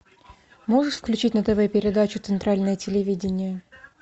можешь включить на тв передачу центральное телевидение